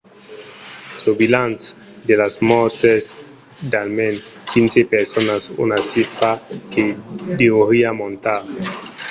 lo bilanç de las mòrts es d'almens 15 personas una chifra que deuriá montar